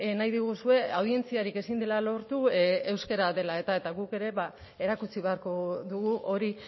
nahi diguzue audientziarik ezin dela lortu euskara dela eta eta guk ere erakutsi beharko dugu hori